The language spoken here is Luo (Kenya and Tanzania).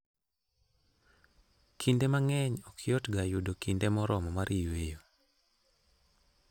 Kinde mang'eny, ok yotga yudo kinde moromo mar yueyo.